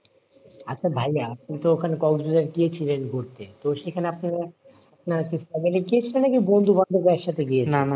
আচ্ছা ভাইয়া তুমি তো ওখানে কক্সবাজারে গিয়েছিলেন ঘুরতে তো সেখানে আপনারা আপনারা কি family গিয়েছিলেন নাকি বন্ধু বান্ধবের সাথে গিয়েছিলেন?